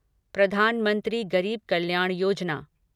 प्रधान मंत्री गरीब कल्याण योजना